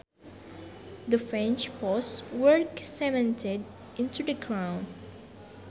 The fence posts were cemented into the ground